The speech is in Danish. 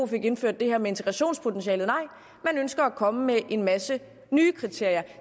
fik indført det her med integrationspotentialet nej man ønsker at komme med en masse nye kriterier